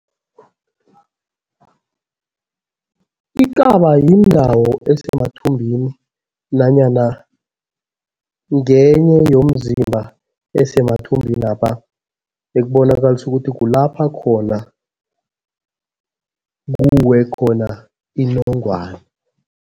Ikaba yindawo esemathumbini nanyana ngenye yomzimba esemathumbinapha ekubonakalisa ukuthi kulapha khona kuwe khona inongwana.